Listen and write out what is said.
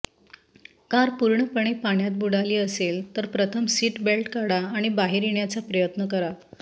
car पूर्णपणे पाण्यात बुडाली असेल तर प्रथम सीट बेल्ट काढा आणि बाहेर येण्याचा प्रयत्न करा